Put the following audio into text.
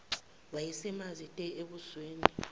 wayesemanzi te ebusweni